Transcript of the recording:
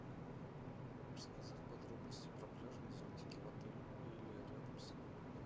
рассказать подробности про пляжные зонтики в отеле или рядом с ним